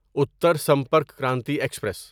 Uttar Sampark Kranti express